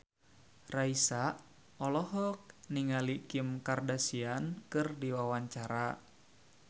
Raisa olohok ningali Kim Kardashian keur diwawancara